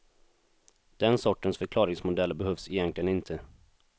Den sortens förklaringsmodeller behövs egentligen inte.